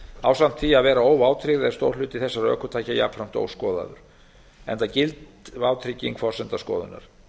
ásamt því að vera óvátryggð er stór hluti þessara ökutækjajafnframt óskoðaður enda gild vátrygging forsenda skoðunar